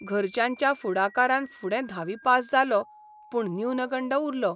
घरच्यांच्या फुडाकारान फुडें धावी पास जालो, पूण न्यूनगंड उरलो.